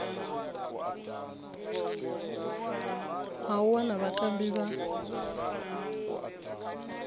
ha u wana vhatambi vha